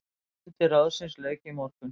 Fundi ráðsins lauk í morgun.